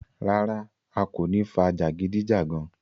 Rárá, a kò ní fà jagidijagan.